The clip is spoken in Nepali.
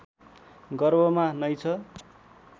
गर्भमा नै छ